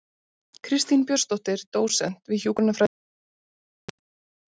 Kristín Björnsdóttir, dósent við hjúkrunarfræðideild Háskóla Íslands